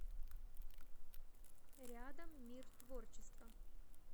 рядом мир творчества